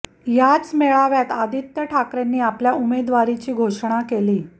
याच मेळाव्यात आदित्य ठाकरेंनी आपल्या उमेदवारीची घोषणा केली